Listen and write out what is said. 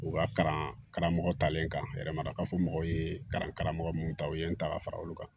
U ka karamɔgɔ talen kan yɛrɛ ma ka fɔ mɔgɔw ye kalan karamɔgɔ mun ta u ye n ta ka fara olu kan